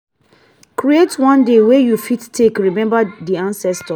create one day wey you fit take remember di ancestor